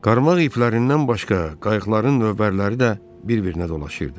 Qarmaq iplərindən başqa qayıqların lövbərləri də bir-birinə dolaşırdı.